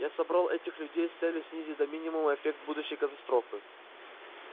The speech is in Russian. я собрал этих людей с целью снизить до минимума эффект будущей катастрофы